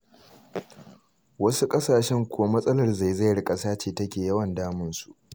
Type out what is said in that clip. Wasu ƙasashen kuwa matsalar zaizayar ƙasa ce take yawan damunsu.